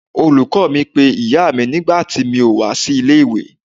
Olùkọ́ọ mi pé ìyáa mi nígbà tí mi ò wá sí ilé ìwé.